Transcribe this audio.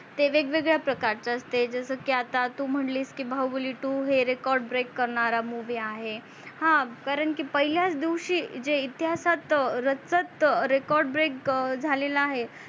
ते वेगवेगळ्या प्रकारचे असते जस की आता तू म्हणलीस की बाहुबली two हे record break करणारा movie आहे हा कारण की पहिल्याच दिवशी जे इतिहासात रचत record break झालेला आहे.